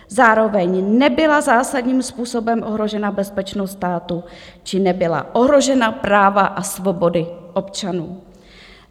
Zároveň nebyla zásadním způsobem ohrožena bezpečnost státu či nebyla ohrožena práva a svobody občanů.